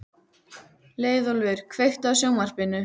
Leiðólfur, kveiktu á sjónvarpinu.